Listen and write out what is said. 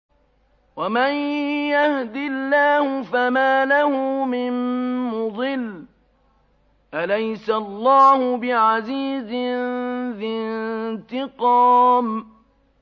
وَمَن يَهْدِ اللَّهُ فَمَا لَهُ مِن مُّضِلٍّ ۗ أَلَيْسَ اللَّهُ بِعَزِيزٍ ذِي انتِقَامٍ